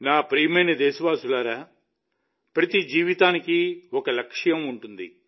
నా ప్రియమైన దేశవాసులారా ప్రతి జీవితానికి ఒక లక్ష్యం ఉంటుంది